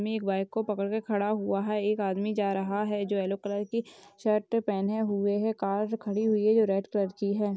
मे के वाइफ की पकड़ के खड़ा हुआ हैं एक जा रहा हैं जो यलो कलर की शर्ट पहने हुए हैंकार खड़ी हुई हैं जो रेड कलर की हैं।